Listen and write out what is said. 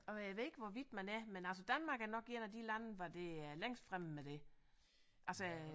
Og jeg ved ikke hvor vidt man er men altså Danmark er nok en af de lande hvor det er længst fremme med det altså